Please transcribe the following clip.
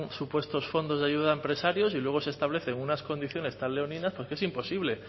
supuestos fondos de ayuda a empresarios y luego se establecen unas condiciones tan leoninas que es imposible